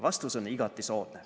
Vastus on igati soodne.